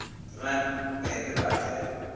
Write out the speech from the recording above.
re nape re ba fe